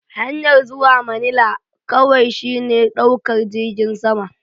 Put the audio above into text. Hanyar zuwa manila kawai shine ɗaukar jirgin sama.